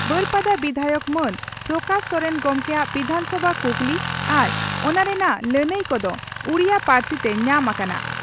ᱵᱟᱹᱨᱯᱟᱫᱟ ᱵᱤᱫᱷᱟᱭᱚᱠ ᱢᱟᱱ ᱯᱨᱚᱠᱟᱥ ᱥᱚᱨᱮᱱ ᱜᱚᱢᱠᱮᱭᱟᱜ ᱵᱤᱫᱷᱟᱱᱥᱚᱵᱷᱟ ᱠᱩᱠᱞᱤ ᱟᱨ ᱚᱱᱟ ᱨᱮᱱᱟᱜ ᱞᱟᱹᱱᱟᱹᱭ ᱠᱚᱫᱚ ᱩᱰᱤᱭᱟᱹ ᱯᱟᱹᱨᱥᱤᱛᱮ ᱣᱟᱢ ᱟᱠᱟᱱᱟ ᱾